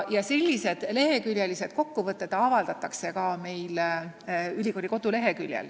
Sellised leheküljepikkused kokkuvõtted avaldatakse ka ülikooli koduleheküljel.